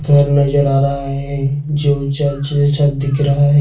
घर नजर आ रहा है जो चर्च जैसा दिख रहा है।